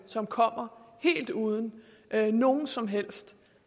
som kommer helt uden nogen som helst